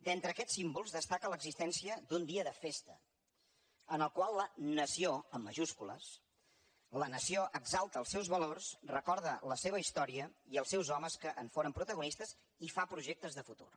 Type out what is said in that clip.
d’entre aquests símbols destaca l’existència d’un dia de festa en el qual la nació amb majúscules exalta els seus valors recorda la seva història i els seus homes que en foren protagonistes i fa projectes de futur